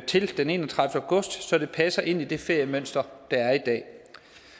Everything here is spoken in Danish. til den enogtredivete august så det passer ind i det feriemønster der er i dag